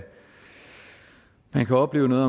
man kan opleve noget